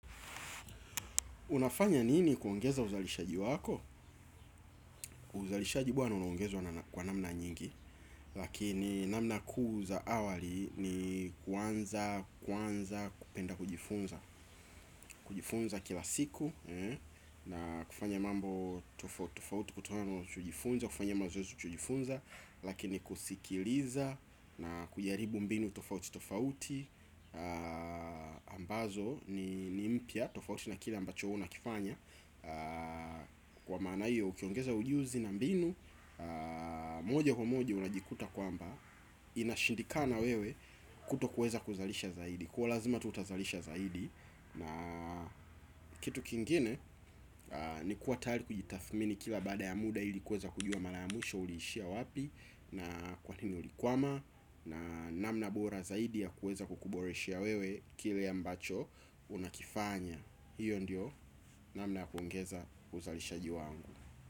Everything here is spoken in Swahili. Unafanya nini kuongeza uzalishaji wako? Uzalishaji bwana unaongezwa kwa namna nyingi. Lakini namna kuu za awali ni kuanza kupenda kujifunza. Kujifunza kila siku na kufanya mambo tofauti tofauti kutokana unachojifunza. Kufanya mazoezi cha kujifunza lakini kusikiliza na kujaribu mbinu tofauti tofauti ambazo ni mpya tofauti na kile ambacho we unakifanya. Kwa mana hio ukiongeza ujuzi na mbinu moja kwa moja unajikuta kwamba inashindikana wewe kutokuweza kuzalisha zaidi. Kwa hio lazima tu utazalisha zaidi. Na kitu kingine ni kuwa tayari kujitathmini kila baada ya muda ili kuweza kujua mara ya mwisho uliishia wapi na kwa nini ulikwama na namna bora zaidi ya kuweza kukuboreshea wewe kile ambacho unakifanya. Hiyo ndiyo namna ya kuongeza uzalishaji waangu.